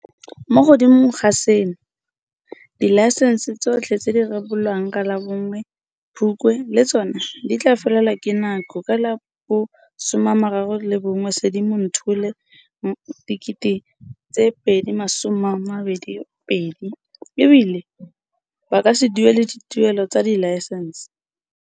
Mo godimo ga seno, dilaesense tsotlhe tse di rebolwang ka la bo 1 Phukwi le tsona di tla felelwa ke nako ka la bo 31 Sedimonthole 2022, e bile ba ka se duedisiwe dituelelo tsa dilaesense.